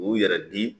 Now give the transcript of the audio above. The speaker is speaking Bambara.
U yɛrɛ di